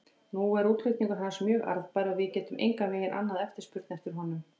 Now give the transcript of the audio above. Nú er útflutningur hans mjög arðbær og við getum engan veginn annað eftirspurn eftir honum.